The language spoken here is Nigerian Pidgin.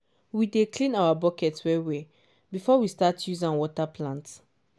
we dey clean our bucket well well before we start use am water plant.